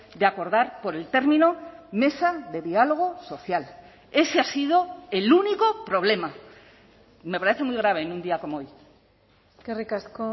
de acordar por el término mesa de diálogo social ese ha sido el único problema me parece muy grave en un día como hoy eskerrik asko